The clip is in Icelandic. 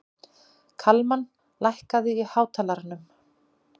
Kalmann, lækkaðu í hátalaranum.